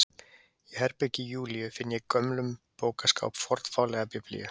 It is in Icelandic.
Í herbergi Júlíu finn ég í gömlum bókaskáp fornfálega Biblíu.